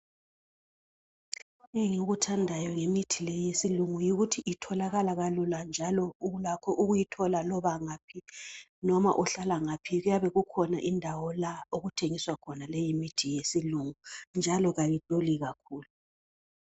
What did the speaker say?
Engikuthandayo ngemithi le yesiLungu yikuthi itholakala kalula njalo ulakho ukuyithola loba ngaphi, noma uhlala ngaphi kuyabe kukhona indawo la okuthengiswa khona le imithi yesiLungu njalo kayiduli kakhulu.